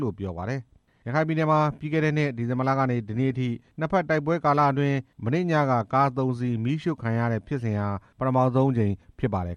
လို့ RFA ကို ပြောပါတယ်။ ရခိုင်ပြည်နယ်မှာ ပြီးခဲ့တဲ့နှစ် ဒီဇင်ဘာလကနေ ဒီနေ့အထိ နှစ်ဘက်တိုက်ပွဲကာလအတွင်း မနေ့ညက ကား သုံးစီးမီးရှို့ခံရတဲ့ဖြစ်စဉ်ဟာ ပထမဆုံးအကြိမ်ဖြစ်ပါတယ်